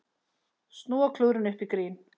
Snúa klúðrinu upp í grín